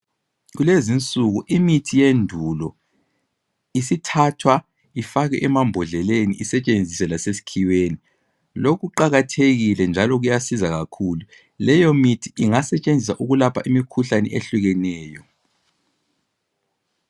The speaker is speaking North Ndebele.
kulezi insuku imithi yendulo isithathwa ibekwe emambodleleni isetshenziswe lasesikhiweni lokho kuqhakathekile njalo kuyasiza kakhulu leyo mithi ingasetshenziswa ukulapha imikhuhlane etshiyeneyo